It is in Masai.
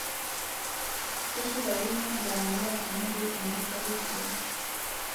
Keshipakino ilaramatak teneidip enkasare sidai